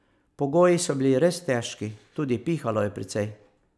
Pogoji so bili res težki, tudi pihalo je precej.